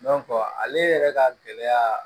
ale yɛrɛ ka gɛlɛya